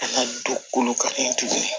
An ka don kolo kan tuguni